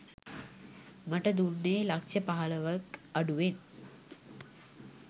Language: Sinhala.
මට දුන්නේ ලක්‍ෂ පහළොවක්‌ අඩුවෙන්